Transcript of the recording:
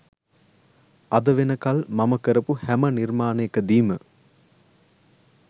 අද වෙනකල් මම කරපු හැම නිර්මාණයකදීම